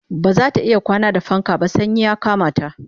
bazata iya kwana da fanka ba sanyi ya Kamata